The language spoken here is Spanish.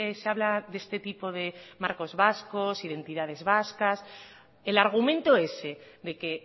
se habla de este tipo de marcos vascos identidades vascas el argumento ese de que